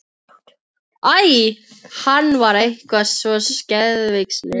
Æ, hann var eitthvað svo geðveikislegur.